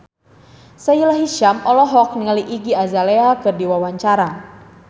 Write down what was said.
Sahila Hisyam olohok ningali Iggy Azalea keur diwawancara